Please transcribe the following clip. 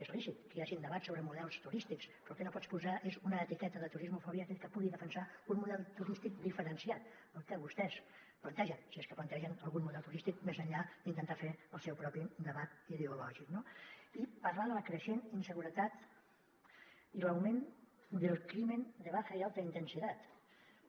és lícit que hi hagin debats sobre models turístics però el que no pots posar és una etiqueta de turismofòbia a aquell que pugui defensar un model turístic diferenciat al que vostès plantegen si és que plantegen algun model turístic més enllà d’intentar fer el seu propi debat ideològic no i parlar de la creixent inseguretat i l’augment del crimen de baja y alta intensidad